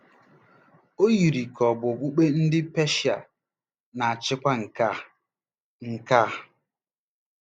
O yiri ka ọ̀ bụ okpukpe ndị Peshia na-achịkwa nke a. nke a. ”